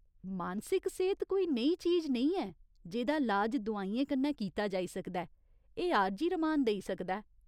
मानसिक सेह्त कोई नेही चीज नेईं ऐ जेह्दा लाज दोआइयें कन्नै कीता जाई सकदा ऐ, एह् आरजी रमान देई सकदा ऐ।